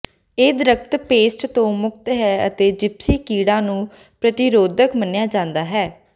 ਇਹ ਦਰਖ਼ਤ ਪੈੱਸਟ ਤੋਂ ਮੁਕਤ ਹੈ ਅਤੇ ਜਿਪਸੀ ਕੀੜਾ ਨੂੰ ਪ੍ਰਤੀਰੋਧਕ ਮੰਨਿਆ ਜਾਂਦਾ ਹੈ